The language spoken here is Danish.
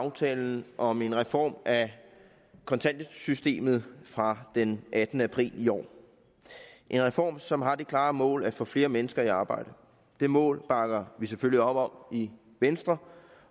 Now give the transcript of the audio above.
aftalen om en reform af kontanthjælpssystemet fra den attende april i år en reform som har det klare mål at få flere mennesker i arbejde det mål bakker vi selvfølgelig op om i venstre